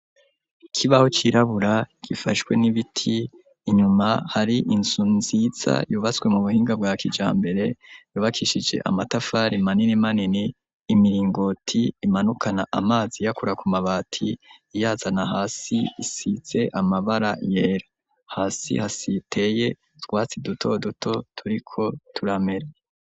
Ikibaho cirabura gifashwe n'ibiti, inyuma hari inzu nziza yubatswe mu buhinga bwa kijambere, yubakishije amatafari manini manini, imiringoti imanukana amazi iyakura ku mabati iyazana hasi isize amabara yera, hasi hateye utwatsi duto duto turiko turamera.